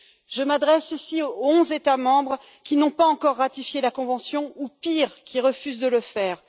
Je m'adresse ici aux onze États membres qui n'ont pas encore ratifié la convention ou, pire, qui refusent de le faire.